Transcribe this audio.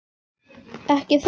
Ekki það?